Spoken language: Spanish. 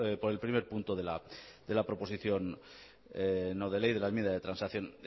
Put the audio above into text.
por el primer punto de la proposición no de ley de la enmienda de transacción